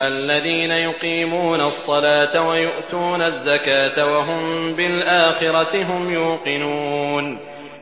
الَّذِينَ يُقِيمُونَ الصَّلَاةَ وَيُؤْتُونَ الزَّكَاةَ وَهُم بِالْآخِرَةِ هُمْ يُوقِنُونَ